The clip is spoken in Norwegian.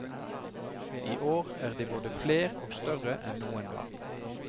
I år er de både fler og større enn noen gang.